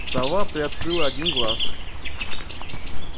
сова приоткрыла один глаз